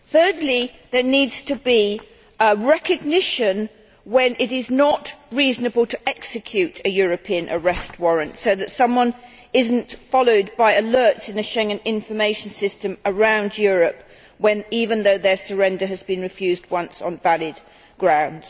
Thirdly, it needs to be recognised when it is not reasonable to execute a European Arrest Warrant, so that someone is not followed by alerts in the Schengen Information System around Europe even though their surrender has been refused once on valid grounds.